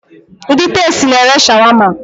Ndị Tastee na ere Shawama